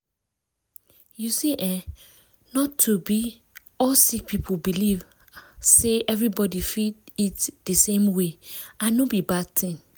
you see eh not be all sick people believe ah say everybody fit eat di same way and no be bad tin.